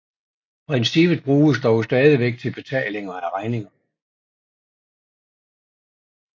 Princippet bruges dog stadigvæk til betaling af regninger